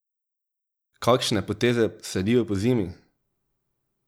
Kakšne poteze sledijo pozimi?